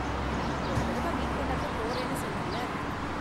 நாம போன தடவ மீட் பண்ணுனப்ப போறேன்னு சொன்னல்ல?